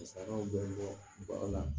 Musakaw bɛ bɔ ba la